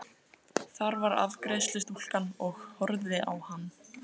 Þar var afgreiðslustúlkan og horfði á hann.